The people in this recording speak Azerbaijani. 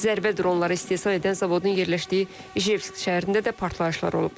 Zərbə dronları istehsal edən zavodun yerləşdiyi Ijevsk şəhərində də partlayışlar olub.